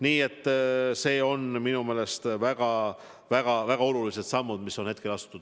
Nii et minu meelest on väga-väga-väga olulised sammud astutud.